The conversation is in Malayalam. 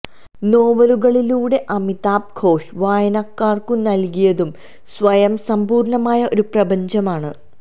നോവലുകളിലൂടെ അമിതാവ് ഘോഷ് വായനക്കാര്ക്കു നല്കിയതും സ്വയം സമ്പൂര്ണമായ ഒരു പ്രപഞ്ചമാണ്